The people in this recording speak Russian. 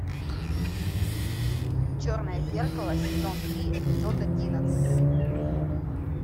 черное зеркало сезон три эпизод одиннадцать